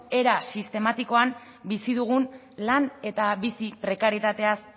era sistematikoan bizi dugun lan eta bizi prekarietateaz